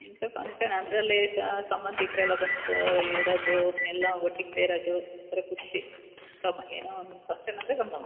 ಇಂತ ಫಂಕ್ಷನ್ ಅದ್ರಲ್ಲೇ ಸಂಬಧಿಕರು ಎಲ್ಲ ಬಂದು ಇರೋದು ಎಲ್ಲ ಒಟ್ಟಿಗೆ ಸೇರೋದು ಒಂಥರಾ ಖುಷಿ ಏನೋ ಒಂದ್ ಫಂಕ್ಷನ್ ಅಂದ್ರೆ ಒಂದು ಸಂಭ್ರಮ .